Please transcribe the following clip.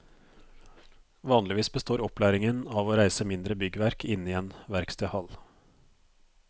Vanligvis består opplæringen av å reise mindre byggverk inne i en verkstedhall.